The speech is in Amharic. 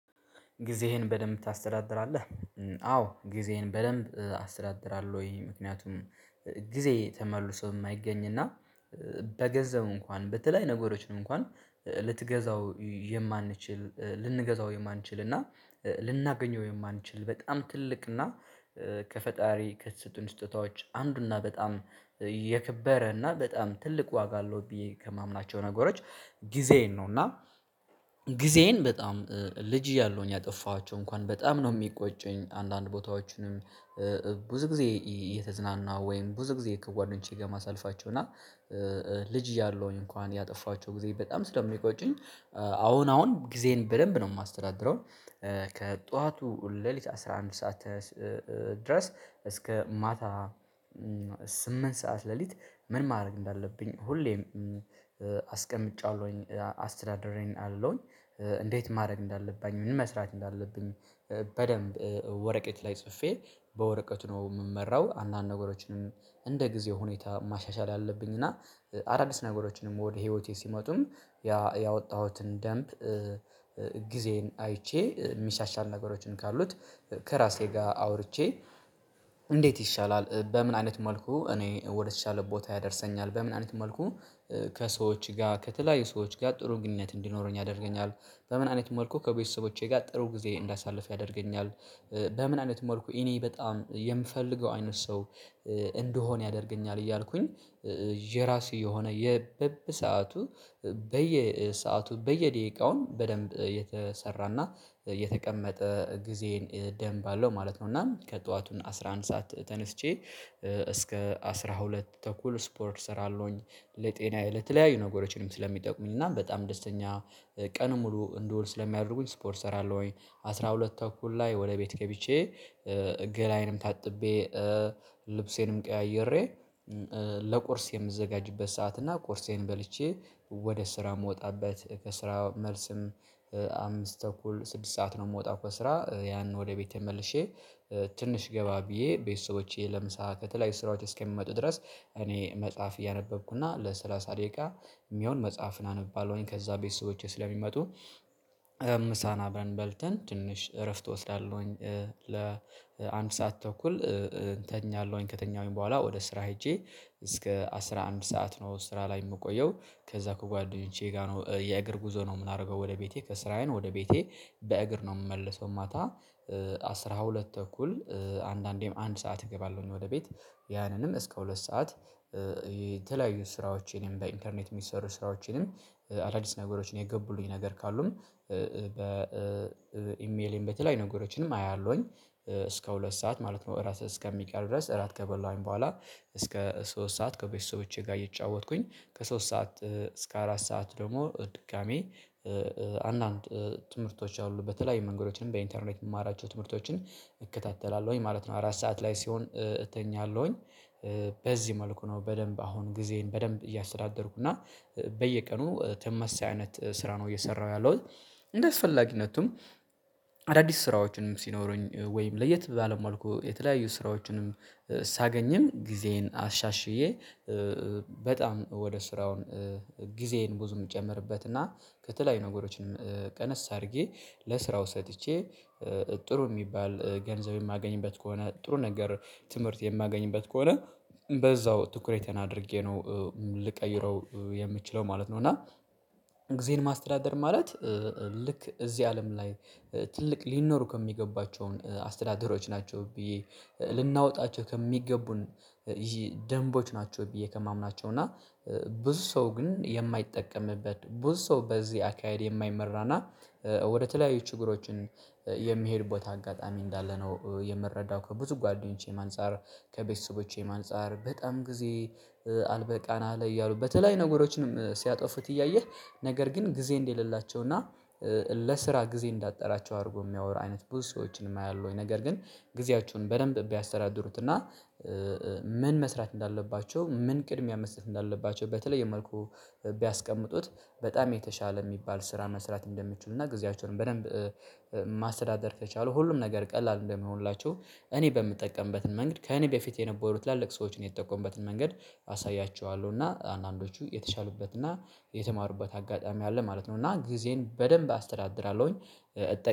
ጊዜህን በደንብ ታስተዳድራለህ? አዎ ጊዜህን በደንብ አስተዳድራለሁ ወይ ምክንያቱም ጊዜ ተመልሶ የማይገኝ እና በገዛው እንኳን በተለይ ነገሮችን እንኳን ልትገዛው የማንችል ልንገዛው የማንችል እና ልናገኘው የማንችል በጣም ትልቅ እና ከፈጣሪ ከስጦታዎች አንዱና በጣም የከበረ እና በጣም ትልቅ ዋጋ አለው ብዬ ከማምናቸው ነገሮች። ጊዜዬን ነው እና ጊዜዬን በጣም ልጅ እያሉኝ ያጠፋኋቸው እንኳን በጣም ነው የሚቆጩኝ አንዳንድ ቦታዎችንም ብዙ ጊዜ እየተዝናና ወይም ብዙ ጊዜ ከጓደኞቼ ጋር ማሳልፋቸው እና ልጅ እያለሁኝ እንኳን ያጠፋችሁ ጊዜ በጣም ስለሚቆጩኝ አሁን አሁን ጊዜን በደንብ ነው የማስተዳድረው። ከጧቱ ሌሊት አስራ አንድ ሰዓት እስከ ማታ ስምንት ሰዓት ሌሊት ምን ማድረግ እንዳለብኝ ሁሌም አስቀምጫለሁኝ አስተዳደሬን አለሁኝ። እንዴት ማድረግ እንዳለባኝ ምን መስራት እንዳለብኝ በደንብ ወረቀት ላይ ጽፌ በወረቀቱ ነው የምመራው። አንዳንድ ነገሮችንም እንደ ጊዜ ሁኔታ ማሻሻል አለብኝ እና አዳዲስ ነገሮችንም ወደ ህይወቴ ሲመጡም ያ ያወጣሁትን ደንብ። ጊዜን አይቼ የሚሻሻል ነገሮችን ካሉት ከራሴ ጋር አውርቼ እንዴት ይሻላል በምን አይነት መልኩ እኔ ወደተሻለ ቦታ ያደርሰኛል በምን አይነት መልኩ? ከሰዎች ጋር ከተለያዩ ሰዎች ጋር ጥሩ ግንኙነት እንዲኖረኝ ያደርገኛል በምን አይነት መልኩ ከቤተሰቦቼ ጋር ጥሩ ጊዜ እንዳሳልፍ ያደርገኛል። በምን አይነት ሞልኩ እኔ በጣም የምፈልገው አይነት ሰው እንደሆነ ያደርገኛል እያልኩኝ የራሱ የሆነ የበበ ሰዓቱ በየሰአቱ በየደቂቃውን በደንብ የተሰራና የተቀመጠ ጊዜን ደንብ አለው ማለት ነው። እና ከጠዋቱን አስራ አንድ ሰዓት ተነስቼ እስከ አስራ ሁለት ተኩል ስፖርት እሰራለሁኝ ለጤናዬ ለተለያዩ ነገሮችንም ስለሚጠቁሙኝ እና በጣም ደስተኛ ቀን ሙሉ እንደውል ስለሚያደርጉኝ ስፖርት እሰራለሁኝ። አስራ ሁለት ተኩል ላይ ወደ ቤት ገብቼ ገላዬንም ታጥቤ ልብሴንም ቀያይሬ ለቁርስ የምዘጋጅበት ሰዓት እና ቁርሴን በልቼ ወደ ስራ የምወጣበት ከስራ መልስም አምስት ተኩል ስድስት ሰዓት ነው። የምወጣው ከስራ ያንን ወደ ቤቴ መልሼ ትንሽ ገባ ብዬ ቤተሰቦቼ ለምሳ ከተለያዩ ስራዎች እስከምመጡ ድረስ እኔ መጽሐፍ እያነበብኩና ለሰላሳ ደቂቃ የሚሆን መጽሐፍን አነባለሁኝ ከዛ ቤተሰቦቼ ስለሚመጡ ምሳን አብረን በልተን ትንሽ እረፍት እወስዳለሁኝ። ለአንድ ሰዓት ተኩል እንተኛለሁኝ ከተኛሁኝ በኋላ ወደ ስራ ሄጄ እስከ አስራ አንድ ሰዓት ነው ስራ ላይ የምቆየው። ከዛ ከጓደኞቼ ጋር ነው የእግር ጉዞ ነው የምናደርገው ወደ ቤቴ ከስራዬን ወደ ቤቴ በእግር ነው የምመልሰው ማታ አስራ ሁለት ተኩል አንዳንዴም አንድ ሰዓት እገባለሁኝ ወደ ቤት። ያንንም እስከ ሁለት ሰዓት የተለያዩ ስራዎችንም በኢንተርኔት የሚሰሩ ስራዎችንም አዳዲስ ነገሮችን የገቡልኝ ነገር ካሉም በኢሜሌም በተለይ ነገሮችንም አያለሁኝ እስከ ሁለት ሰዓት ማለት ነው እራት እስከሚቀር ድረስ እራት ከበላኝ በኋላ እስከ ሶስት ሰዓት ከቤተሰቦቼ ጋር እየጫወትኩኝ ከሶስት ሰዓት እስከ አራት ሰዓት ደግሞ ድጋሚ ትምህርቶች አሉ በተለይ መንገዶችንም በኢንተርኔት የማራቸው ትምህርቶችን እከታተላለሁኝ ማለት ነው። አራት ሰዓት ላይ ሲሆን እተኛለሁኝ በዚህ መልኩ ነው በደንብ አሁን ጊዜን በደንብ እያስተዳደርኩ እና በየቀኑ ተመሳሳይ አይነት ስራ ነው እየሰራሁ ያለሁት። እንደስፈላጊነቱም አዳዲስ ስራዎችንም ሲኖሩኝ ወይም ለየት ባለ መልኩ የተለያዩ ስራዎችንም ሳገኝም ጊዜዬን አሻሽዬ በጣም ወደ ስራውን ጊዜዬን ብዙ የምጨምርበት እና ከተለያዩ ነገሮችንም ቀነስ አድርጌ ለስራው ሰጥቼ ጥሩ የሚባል ገንዘብ የማገኝበት ከሆነ ጥሩ ነገር ትምህርት የማገኝበት ከሆነ በዛው ትኩረቴን አድርጌ ነው ልቀይረው የምችለው ማለት ነው። እና ጊዜን ማስተዳደር ማለት ልክ እዚህ አለም ላይ ትልቅ ሊኖሩ ከሚገባቸውን አስተዳደሮች ናቸው ብዬ ልናወጣቸው ከሚገቡን ይሄ ደንቦች ናቸው። ብዬ ከማምናቸው እና ብዙ ሰው ግን የማይጠቀምበት ብዙ ሰው በዚህ አካሄድ የማይመራና ወደተለያዩ ችግሮችን የሚሄድ ቦታ አጋጣሚ እንዳለ ነው የምረዳው ከብዙ ጓደኞቼ አንፃር ከቤተሰቦቼም አንፃር በጣም ጊዜ አልበቃና ላይ እያሉ በተለይ ነገሮችንም ሲያጠፉት እያየህ ነገር ግን ጊዜ እንደሌላቸው እና ለስራ ጊዜ እንዳትጠራቸው አድርጎ የሚያወራ አይነት ብዙ ሰዎችን የማያሉ ወይ ነገር ግን ጊዜያችሁን በደንብ ቢያስተዳድሩትና። ምን መስራት እንዳለባቸው ምን ቅድሚያ መስጠት እንዳለባቸው በተለየ መልኩ ቢያስቀምጡት በጣም የተሻለ የሚባል ስራ መስራት እንደምትችሉና ጊዜያቸውን በደንብ ማስተዳደር ከቻሉ ሁሉም ነገር ቀላል እንደምሆንላቸው እኔ በምጠቀምበትን መንገድ ከእኔ በፊት የነበሩ ትላልቅ ሰዎችን የተጠቆምበትን መንገድ አሳያችኋለሁ እና አንዳንዶቹ የተሻሉበትና የተማሩበት አጋጣሚ አለ ማለት ነው። እና ጊዜን በደንብ አስተዳድራለሁኝ እጠቀ